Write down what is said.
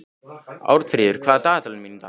Arnfríður, hvað er á dagatalinu mínu í dag?